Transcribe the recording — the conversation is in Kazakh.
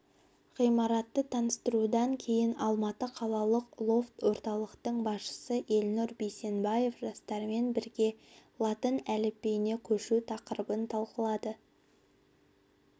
ғимаратты таныстырудан кейін алматы қалалық лофт-орталықтың басшысы елнұр бейсенбаев жастармен бірге латын әліпбиіне көшу тақырыбын талқылады